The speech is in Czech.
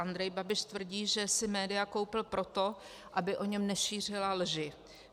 Andrej Babiš tvrdí, že si média koupil proto, aby o něm nešířila lži.